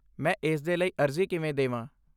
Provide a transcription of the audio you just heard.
ਮੈਂ ਇਸ ਦੇ ਲਈ ਅਰਜ਼ੀ ਕਿਵੇਂ ਦੇਵਾਂ?